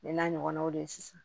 Ne n'a ɲɔgɔnnaw de sisan